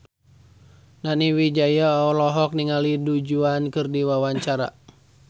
Nani Wijaya olohok ningali Du Juan keur diwawancara